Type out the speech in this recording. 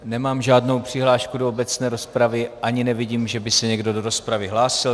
Nemám žádnou přihlášku do obecné rozpravy ani nevidím, že by se někdo do rozpravy hlásil.